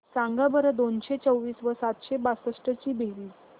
सांगा बरं दोनशे चोवीस व सातशे बासष्ट ची बेरीज